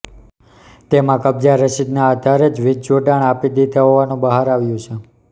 તેમાં કબજા રસીદના આધારે જ વીજજોડાણ આપી દીધા હોવાનુ બહાર આવ્યું છે